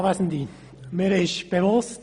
Mir ist bewusst: